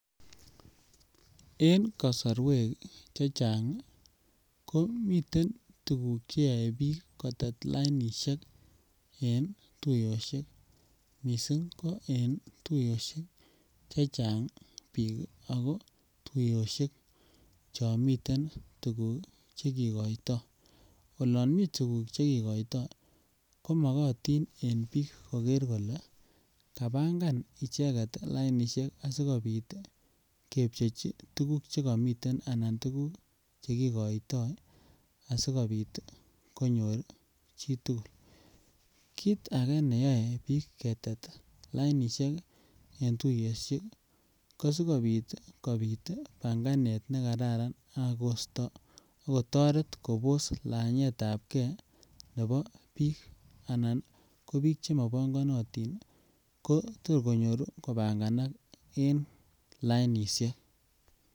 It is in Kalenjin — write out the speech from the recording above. En kosorwek chechang ii ko miten tuguk che yoe biik kotet lainishek en tuyoshek missing ko en tuyoshek chechang biik Ako tuyoshek Chon miten tuguk che kigoito olon mii tuguk che kigoito ko mogotin en biik koger kolee kabangan icheget lainishek asikopit ii kebjechi che komiten anan tuguk che kigoito asikopit ii konyor chi tugul. Kit age neyoe biik ketet lainishek en tuyoshek ii ko sikopit ii kopit panganet ne kararan ak kosto ak kotoret Kobos lanyetab gee nebo biik anan ko biik che mo pongonotin ko tor konyoru ko panganak en lainishek